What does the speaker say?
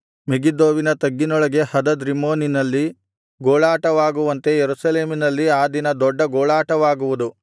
ಮೆಗಿದ್ದೋವಿನ ತಗ್ಗಿನೊಳಗೆ ಹದದ್ ರಿಮ್ಮೋನಿನಲ್ಲಿ ಗೋಳಾಟವಾಗುವಂತೆ ಯೆರೂಸಲೇಮಿನಲ್ಲಿ ಆ ದಿನ ದೊಡ್ಡ ಗೋಳಾಟವಾಗುವುದು